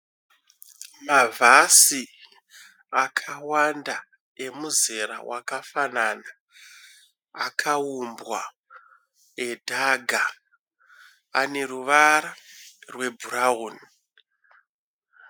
Mavhasi akawanda emuzera wakafanana akaumbwa edhaga . Ane ruvara rwebhurauni.